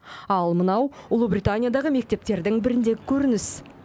ал мынау ұлыбританиядағы мектептердің біріндегі көрініс